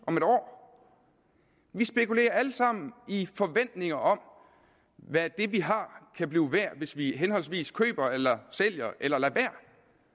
om et år vi spekulerer alle sammen i forventning om hvad det vi har kan blive værd hvis vi henholdsvis køber eller sælger eller lader være